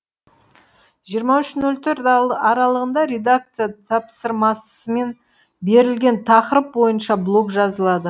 жиырма үш нөл төрт аралығында редакция тапсырмасымен берілген тақырып бойынша блог жазылады